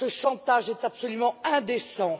Ce chantage est absolument indécent.